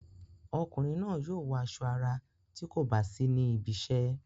Ọkùnrin náà yóò wọ aṣọ ara tí kò bá sí níbi iṣẹ́.